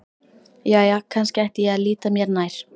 Jæja, kannski ætti ég að líta mér nær.